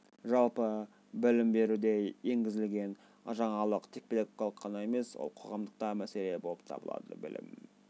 жалпы білім беруде енгізілген жаңалық тек педагогикалық ғана емес ол қоғамдық та мәселе болып табылады білім